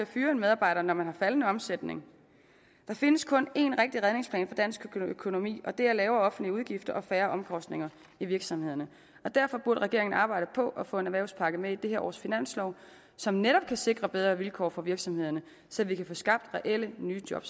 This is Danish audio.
fyre en medarbejder når man har faldende omsætning der findes kun én rigtig redningsplan for dansk økonomi og det er lavere offentlige udgifter og færre omkostninger i virksomhederne derfor burde regeringen arbejde på at få en erhvervspakke med i dette års finanslov som netop kan sikre bedre vilkår for virksomhederne så vi kan få skabt reelle nye job